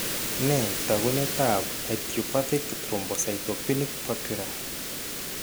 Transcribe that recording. Nee taakunetaab Idiopathic thrombocytopenic purpura?